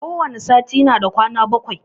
Ko wani sati na da kwana bakwai